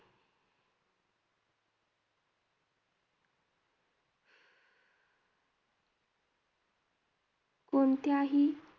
कोणत्याही